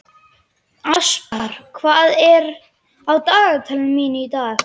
Aspar, hvað er á dagatalinu mínu í dag?